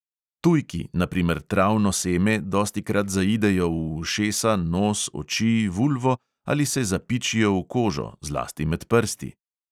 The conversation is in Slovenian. Tujki, na primer travno seme, dostikrat zaidejo v ušesa, nos, oči, vulvo ali se zapičijo v kožo, zlasti med prsti.